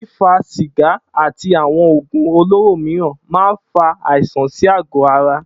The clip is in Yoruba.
Fífa sìgá àti àwo̩n ògùn olóró mìíràn máa ń fa àìsàn sí àgó̩ ara